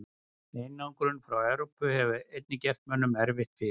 Einangrun frá Evrópu hefur einnig gert mönnum erfitt fyrir.